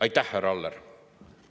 Aitäh, härra Aller!